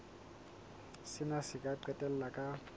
sena se ka qetella ka